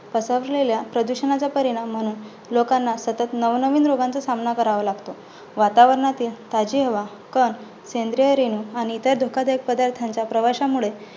पसरलेल्या प्रदूषणाचा परिणाम म्हणून लोकांना सतत नवनवीन रोगांचा सामना करावा लागतो. वातावरणातील ताजी हवा, कण, सेंद्रिय रेणू आणि इतर धोकादायक पदार्थांचा प्रवाशामुळे